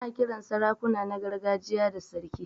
Ana Kiran sarakuna na gargajiya da sarki.